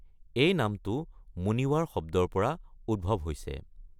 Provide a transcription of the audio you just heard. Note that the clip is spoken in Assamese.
এই নামটো মুনিৱাৰ শব্দৰ পৰা উদ্ভৱ হৈছে।